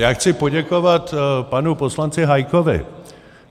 Já chci poděkovat panu poslanci Hájkovi.